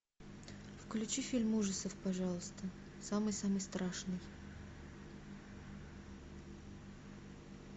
включи фильм ужасов пожалуйста самый самый страшный